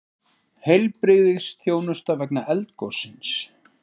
Heilbrigðisþjónusta vegna eldgossins